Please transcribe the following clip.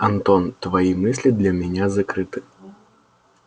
антон твои мысли для меня закрыты